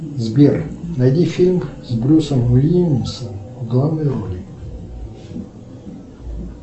сбер найди фильм с брюсом уиллисом в главной роли